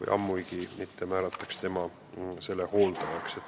või selline vanem määratakse lapse hooldajaks.